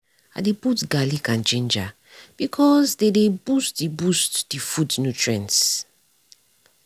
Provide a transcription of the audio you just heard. i dey put garlic and ginger because dey dey boost the boost the food nutrients.